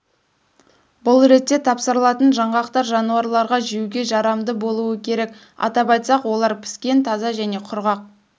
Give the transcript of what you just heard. бұл ретте тапсырылатын жаңғақтар жануарларға жеуге жарамды болуы керек атап айтсақ олар піскен таза және құрғақ